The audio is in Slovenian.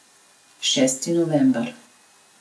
Šesti november.